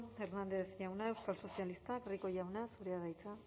hernández jauna euskal sozialistak rico jauna zurea da hitza